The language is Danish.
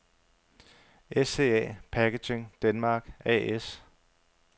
SCA Packaging Denmark A/S